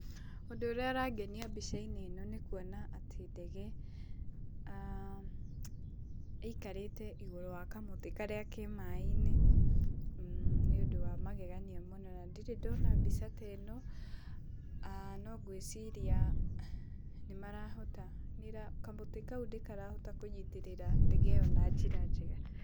Ūndū ūrīa ūrangenia mbica-inī īno nī kuona atī ndege īikarīte igūrū wa kamūtī karīa ke maaī-inī, nīundū wa magegania mūno na ndirī ndona mbica ta īno no ngūīciria nīmarahota, kamūtī kau nīkarahota kūnyitīrīra ndege īyo na njīra njega.